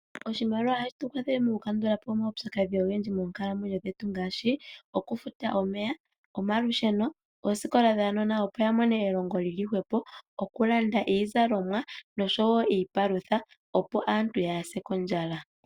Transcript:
Oshimaliwa ohashi tu kwathele okukandula po omaupyakadhi ogendji moonkalamwenyo dhetu ngaashi okufuta omeya ,malusheno, oosikola dhuunona opo wulone elongo lyili hwepo, okulanda iizalomwa nosho wo iipalutha opo aantu yaase kondjala.